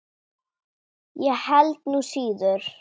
Ég held nú síður.